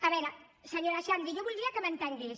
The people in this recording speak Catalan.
a veure senyora xandri jo voldria que m’entengués